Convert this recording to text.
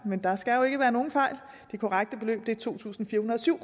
men der skal jo ikke være nogen fejl det korrekte beløb er to tusind fire hundrede og syv